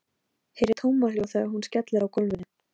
Ég var bara að hugsa og horfa út um gluggann.